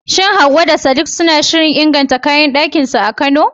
Shin Hawwa da Sadiq suna shirin inganta kayan dakinsu a Kano?